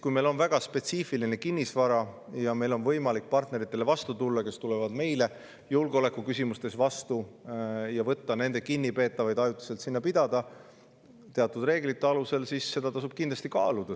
Kui meil on väga spetsiifiline kinnisvara ja meil on võimalik tulla vastu partneritele, kes tulevad meile vastu julgeolekuküsimustes, ja võtta nende kinnipeetavaid ajutiselt siia pidada teatud reeglite alusel, siis seda tasub kindlasti kaaluda.